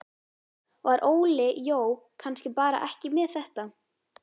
Var Óli Jó kannski bara ekki með þetta?